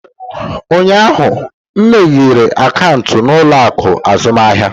Ụnyaahụ, m meghere akaụntụ n'ụlọ akụ azụmahịa.